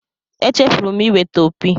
Echefuru m iweta opi.